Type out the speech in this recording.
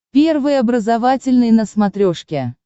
первый образовательный на смотрешке